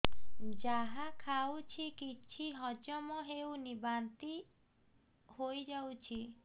ଯାହା ଖାଉଛି କିଛି ହଜମ ହେଉନି ବାନ୍ତି ହୋଇଯାଉଛି